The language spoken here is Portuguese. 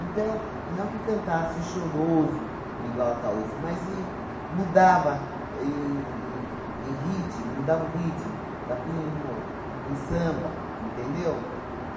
não que cantasse o choroso igual Ataulfo, mas em mudava em em em ritmo, mudava o ritmo, tá, punha em mo em samba, entendeu?